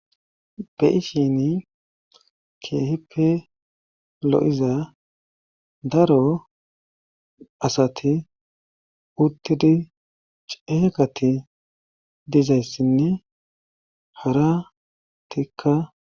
beyishini keehippe lo7iza daro asati uttidi ceeqati dizayssinne hara tikka